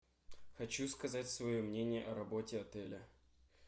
хочу сказать свое мнение о работе отеля